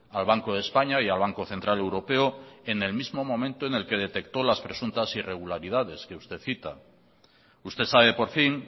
al banco de españa y al banco central europeo en el mismo momento en el que detectó las presuntas irregularidades que usted cita usted sabe por fin